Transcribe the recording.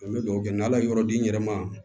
An bɛ dugawu kɛ n'ala ye yɔrɔ di n yɛrɛ ma